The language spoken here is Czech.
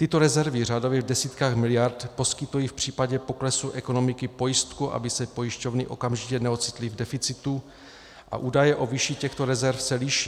Tyto rezervy řádově v desítkách miliard poskytují v případě poklesu ekonomiky pojistku, aby se pojišťovny okamžitě neocitly v deficitu, a údaje o výši těchto rezerv se liší.